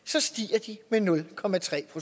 der nu